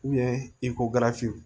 i ko gafew